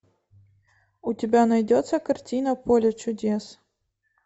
у тебя найдется картина поле чудес